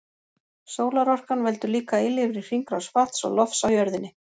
Sólarorkan veldur líka eilífri hringrás vatns og lofts á jörðinni.